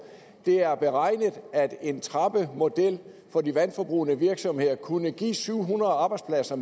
det er blevet beregnet at en trappemodel for de vandforbrugende virksomheder kunne give syv hundrede arbejdspladser